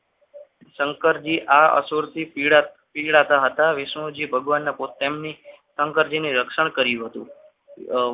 શંકરજી આ સુરતી પીડાતાતા વિષ્ણુ જે ભગવાનને તેમની શંકરજીની સંરક્ષણ કર્યું હતું.